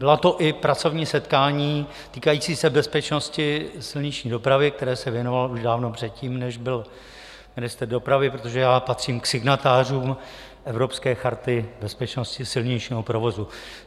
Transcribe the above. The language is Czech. Byla to i pracovní setkání týkající se bezpečnosti silniční dopravy, které se věnoval i dávno předtím, než byl ministrem dopravy, protože já patřím k signatářům Evropské charty bezpečnosti silničního provozu.